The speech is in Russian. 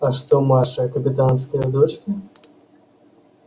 а что маша капитанская дочка